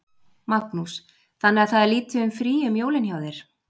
Magnús: Þannig að það er lítið um frí um jólin hjá þér?